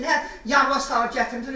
Mənə yalana salıb gətirdi.